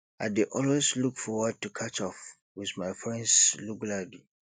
i dey always look forward to catch up with my friends regularly